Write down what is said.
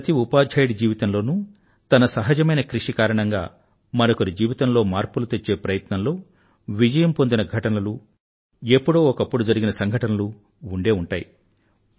ప్రతి ఉపాధ్యాయుడి జీవితంలోనూ తన సహజమైన కృషి కారణంగా మరొకరి జీవితంలో మార్పులు తెచ్చే ప్రయత్నంలో విజయం పొందిన ఘటనలు ఎప్పుడో ఒకప్పుడు జరిగిన సంఘటనలు ఉండే ఉంటాయి